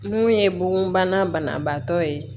Mun ye bugunbana banabaatɔ ye